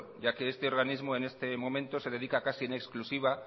ya que este organismo en este momento se dedica casi en exclusiva